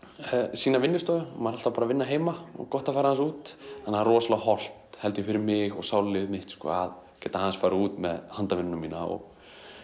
sína vinnustofu maður er alltaf bara að vinna heima og gott að fara aðeins út það er rosalega hollt held ég fyrir mig og sálarlífið mitt að geta aðeins farið út með handavinnuna mína og